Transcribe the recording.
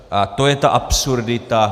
A to je ta absurdita.